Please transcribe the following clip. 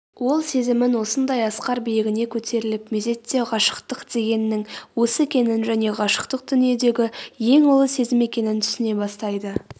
ол сезімнің осындай асқар биігіне көтерілгеп мезетте ғашықтық дегеннің осы екенін және ғашықтық дүииедегі ең ұлы сезім екенін түсіне бастайды